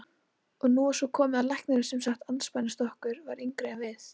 Og nú var svo komið að læknirinn sem sat andspænis okkur var yngri en við.